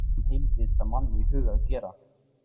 Svona asnastrik dytti engum heilvita manni í hug að gera.